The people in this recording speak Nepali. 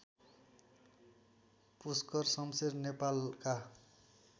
पुष्कर शमशेर नेपालका